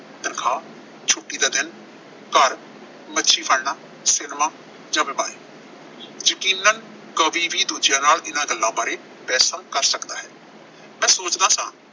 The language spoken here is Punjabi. ਤਨਖਾਹ, ਛੁੱਟੀ ਦਾ ਦਿਨ, ਘਰ, ਮੱਛੀ ਫੜਨਾ ਯਕੀਨਨ ਕਵੀ ਵੀ ਇਨ੍ਹਾਂ ਗੱਲਾਂ ਬਾਰੇ ਦੂਜਿਾਂ ਨਾਲ ਬਹਿਸਾਂ ਕਰ ਸਕਦਾ ਹੈ। ਮੈਂ ਸੋਚਦਾ ਸਾਂ